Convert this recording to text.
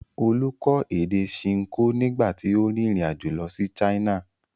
Olú kọ́ èdè Ṣinkó nígbà tí ó rìnrìn-àjò lọ sí China.